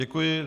Děkuji.